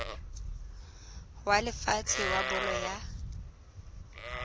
wa lefatshe wa bolo ya